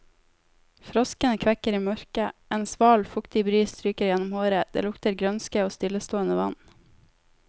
Froskene kvekker i mørket, en sval, fuktig bris stryker gjennom håret, det lukter grønske og stillestående vann.